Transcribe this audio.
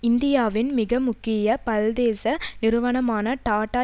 இந்தியாவின் மிக முக்கிய பல்தேச நிறுவனமான டாட்டா